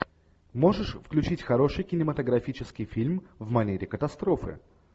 можешь включить хороший кинематографический фильм в манере катастрофы